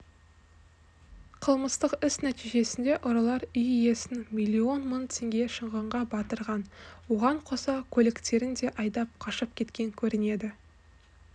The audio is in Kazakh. қылмыстық іс нәтижесінде ұрылар үй иесін миллион мың теңге шығынға батырған оған қоса көліктерін де айдап қашып кеткен көрінеді